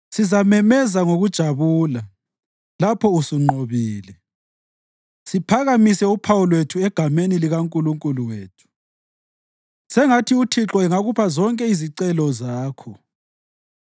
Sizamemeza ngokujabula lapho usunqobile, siphakamise uphawu lwethu egameni likaNkulunkulu wethu. Sengathi uThixo angakupha zonke izicelo zakho.